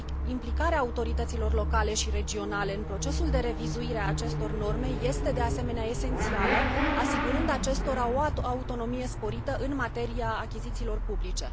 Implicarea autorităților locale și regionale în procesul de revizuire a acestor norme este de asemenea esențială, asigurând acestora o autonomie sporită în materia achizițiilor publice.